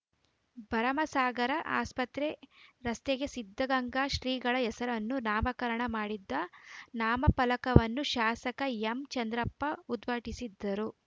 ಭರಮಸಾಗರ ಆಸ್ಪತ್ರೆ ರಸ್ತೆಗೆ ಸಿದ್ಧಗಂಗಾ ಶ್ರೀಗಳ ಹೆಸರನ್ನು ನಾಮಕರಣ ಮಾಡಿದ ನಾಮಫಲಕವನ್ನು ಶಾಸಕ ಎಂಚಂದ್ರಪ್ಪ ಉದ್ಘಾಟಿಸಿದರು